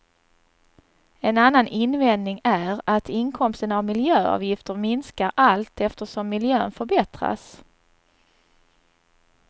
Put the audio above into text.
En annan invändning är att inkomsten av miljöavgifter minskar allt eftersom miljön förbättras.